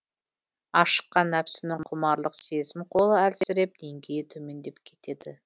ашыққан нәпсінің құмарлық сезім қолы әлсіреп деңгейі төмендеп кетеді